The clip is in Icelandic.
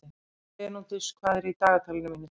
Bernódus, hvað er í dagatalinu mínu í dag?